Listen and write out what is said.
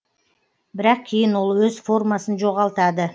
бірақ кейін ол өз формасын жоғалтады